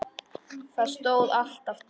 Það stóð alltaf til.